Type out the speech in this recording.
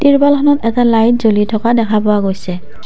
টিৰপালখনত এটা লাইট জ্বলি থকা দেখা পোৱা গৈছে।